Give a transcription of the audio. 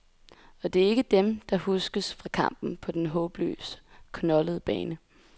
Og det er ikke dem, der huskes fra kampen på den håbløst knoldede bane.